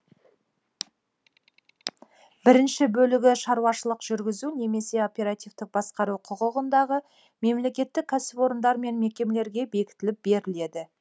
бірінші бөлігі шаруашылық жүргізу немесе оперативтік басқару құқығындағы мемлекеттік кәсіпорындар мен мекемелерге бекітіліп беріледі